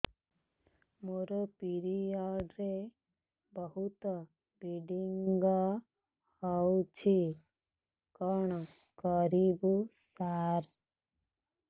ମୋର ପିରିଅଡ଼ ରେ ବହୁତ ବ୍ଲିଡ଼ିଙ୍ଗ ହଉଚି କଣ କରିବୁ ସାର